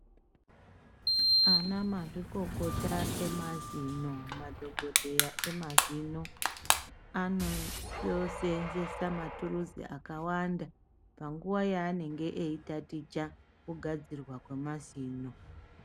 Anamazvikokota emazino (madhokoteya emazino) anoseenzesa maturusi akawanda panguwa yaanenge eitaticha kugadzirwa kwemazino.